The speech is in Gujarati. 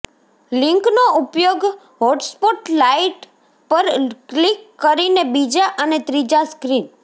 લિંકનો ઉપયોગ હોટસ્પોટ લાઇટ પર ક્લિક કરીને બીજા અને ત્રીજા સ્ક્રીન